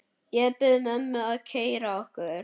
Ég bið mömmu að keyra okkur.